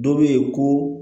Dɔ bɛ ye ko